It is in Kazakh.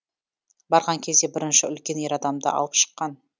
барған кезде бірінші үлкен ер адамды алып шыққан